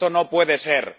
¡Esto no puede ser!